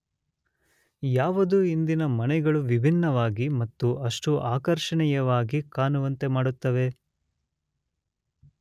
ಯಾವುದು ಇಂದಿನ ಮನೆಗಳು ವಿಭಿನ್ನವಾಗಿ ಮತ್ತು ಅಷ್ಟು ಆಕರ್ಷಣೀಯವಾಗಿ ಕಾಣುವಂತೆ ಮಾಡುತ್ತವೆ?